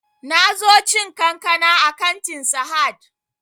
Na zo cin kankana a kantin sahad